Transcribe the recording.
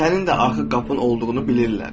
Sənin də axı qapın olduğunu bilirlər.